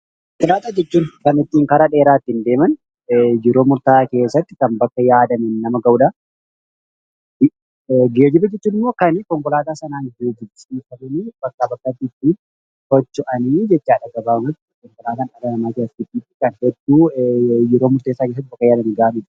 Konkoolaataa jechuun kan ittiin karaa dheeraa ittiin deeman, kan yeroo murta'aa keessatti bakka yaadaniin nama ga'udha. Geejjiba jechuun ammoo kan konkoolaataa sanaan ittin bakkaa bakkatti ittiin socha'anii jechuudha. Gabaabumatti, konkolaatan jirenya dhala namaa keessatti yeroo gabaabaa keessatti bakka yaadan ga'anidha.